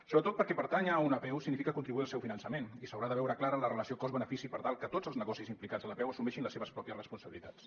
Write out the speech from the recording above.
sobretot perquè pertànyer a una apeu significa contribuir al seu finançament i s’haurà de veure clara la relació cost benefici per tal que tots els negocis implicats en l’apeu assumeixin les seves pròpies responsabilitats